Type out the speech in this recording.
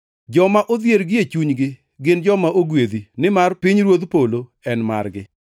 “Joma odhier gie chunygi gin joma ogwedhi, nimar pinyruodh polo en margi.